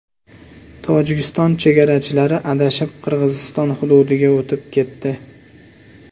Tojikiston chegarachilari adashib, Qirg‘iziston hududiga o‘tib ketdi.